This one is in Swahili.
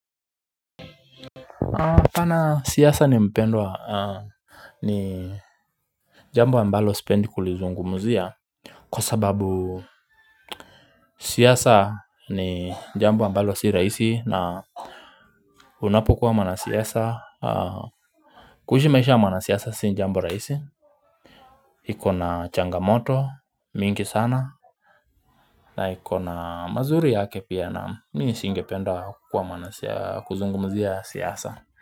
Pana siasa ni mpendwa ni jambo ambalo sipendi kulizungumuzia kwa sababu siasa ni jambo ambalo si rahisi na Unapokuwa mwana siasa kuishi maisha mwana siasa si jambo rahisi iko na changamoto mingi sana na iko na mazuri yake pia na mimi singependa kuwa mwana kuzungumzia siasa.